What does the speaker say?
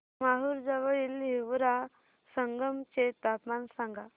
माहूर जवळील हिवरा संगम चे तापमान सांगा